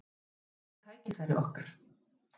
Í því felast tækifæri okkar.